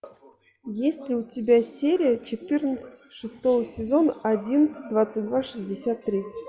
есть ли у тебя серия четырнадцать шестого сезона одиннадцать двадцать два шестьдесят три